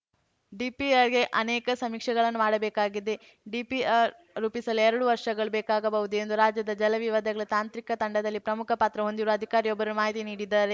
ಡಿಪಿಆರ್‌ಗೆ ಅನೇಕ ಸಮೀಕ್ಷೆಗಳನ್ನು ಮಾಡಬೇಕಾಗಿದೆ ಡಿಪಿಆರ್‌ ರೂಪಿಸಲು ಎರಡು ವರ್ಷಗಳು ಬೇಕಾಗಬಹುದು ಎಂದು ರಾಜ್ಯದ ಜಲ ವಿವಾದಗಳ ತಾಂತ್ರಿಕ ತಂಡದಲ್ಲಿ ಪ್ರಮುಖ ಪಾತ್ರ ಹೊಂದಿರುವ ಅಧಿಕಾರಿಯೊಬ್ಬರು ಮಾಹಿತಿ ನೀಡಿದ್ದಾರೆ